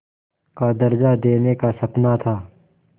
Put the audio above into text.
का दर्ज़ा देने का सपना था